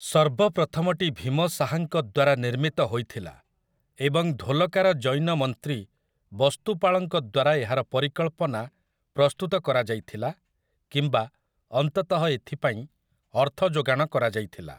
ସର୍ବପ୍ରଥମଟି ଭୀମ ଶାହାଙ୍କ ଦ୍ୱାରା ନିର୍ମିତ ହୋଇଥିଲା ଏବଂ ଧୋଲକା ର ଜୈନ ମନ୍ତ୍ରୀ ବସ୍ତୁପାଳଙ୍କ ଦ୍ୱାରା ଏହାର ପରିକଳ୍ପନା ପ୍ରସ୍ତୁତ କରାଯାଇଥିଲା କିମ୍ବା ଅନ୍ତତଃ ଏଥିପାଇଁ ଅର୍ଥଯୋଗାଣ କରାଯାଇଥିଲା ।